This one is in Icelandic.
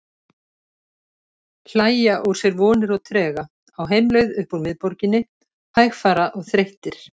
Hlæja úr sér vonir og trega, á heimleið upp úr miðborginni, hægfara og þreyttir.